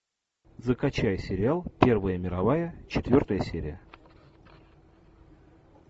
закачай сериал первая мировая четвертая серия